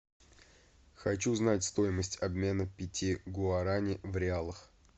хочу знать стоимость обмена пяти гуарани в реалах